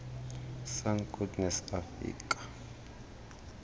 sun goddess afika